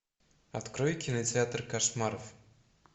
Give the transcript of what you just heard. открой кинотеатр кошмаров